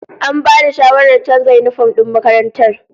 An bada shawarar canza yinifom din makarantar